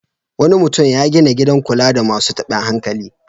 Wani mutum ya gina gidan kula da masu taɓin hankali.